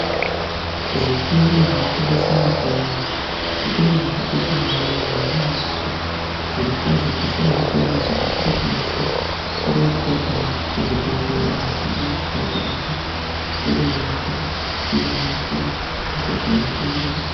Zvitoro zvinotengese mitombo, zvitoro zvakakosha maningi, ngenyaya yekuti zvirokwazvo pasina zvitoro izvi atingakwanisi kurapwa kana kuzvibhedhlera mitombo yashaika, asi zvitoro izvi zvinoita kuti tirapwe tashaya mitombo kuzvibhedhlera.